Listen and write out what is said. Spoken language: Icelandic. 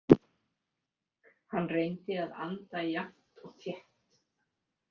Hann reyndi að anda jafnt og þétt.